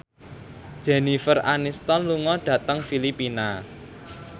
Jennifer Aniston lunga dhateng Filipina